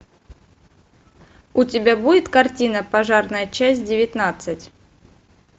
у тебя будет картина пожарная часть девятнадцать